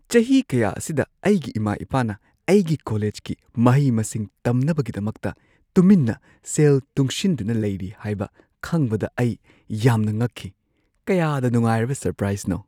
ꯆꯍꯤ ꯀꯌꯥ ꯑꯁꯤꯗ ꯑꯩꯒꯤ ꯏꯃꯥ-ꯏꯄꯥꯅ ꯑꯩꯒꯤ ꯀꯣꯂꯦꯖꯀꯤ ꯃꯍꯩ-ꯃꯁꯤꯡ ꯇꯝꯅꯕꯒꯤꯗꯃꯛꯇ ꯇꯨꯃꯤꯟꯅ ꯁꯦꯜ ꯇꯨꯡꯁꯤꯟꯗꯨꯅ ꯂꯩꯔꯤ ꯍꯥꯏꯕ ꯈꯪꯕꯗ ꯑꯩ ꯌꯥꯝꯅ ꯉꯛꯈꯤ꯫ ꯀꯌꯥꯗ ꯅꯨꯡꯉꯥꯏꯔꯕ ꯁꯔꯄ꯭ꯔꯥꯏꯖꯅꯣ!